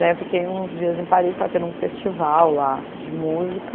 Daí eu fiquei uns dias em Paris, estava tendo um festival lá de música.